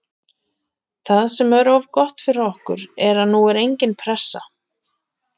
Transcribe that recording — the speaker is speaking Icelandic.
Það sem er gott fyrir okkur er að nú er engin pressa.